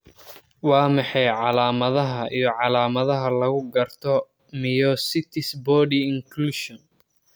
Waa maxay calaamadaha iyo calaamadaha lagu garto myositis body inclusion?